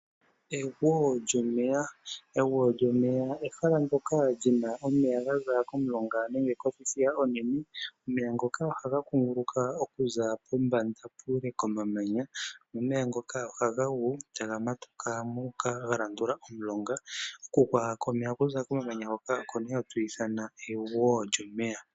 Egwo lyomeya. Egwo lyomeya ehala ndyoka lina omeya ga za komulonga nenge kothithiya onene. Omeya ngoka ohaga kunguluka okuza pombanda puule komamanya nomeya ngoka ohaga gu taga matuka gu uka ga landula omulonga. Okugwa komeya okuza komamanya ngoka oko nee hatu ithana egwo lyomeya.